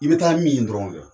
I bɛ taa min dɔrɔn kɛ.